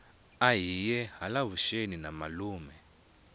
ahiye hala vuxeni na malume